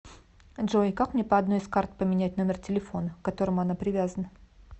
джой как мне по одной из карт поменять номер телефона к которому она привязана